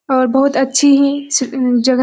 और बहुत अच्छी ही सी जगह --